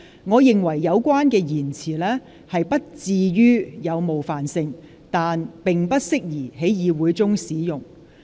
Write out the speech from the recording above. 我認為有關言詞不至於有冒犯性，但並不適宜在議會中使用。